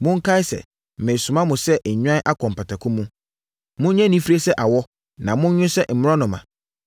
“Monkae sɛ meresoma mo sɛ nnwan akɔ mpataku mu. Monyɛ anifire sɛ awɔ na monnwo sɛ mmorɔnoma.